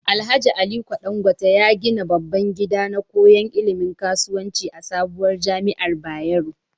Alhaji aliko Dan gwate ya gida babban gida na koyan ilimin kasuwanci a sabuwar jamiar bayero